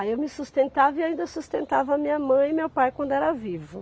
Aí eu me sustentava e ainda sustentava minha mãe e meu pai quando era vivo.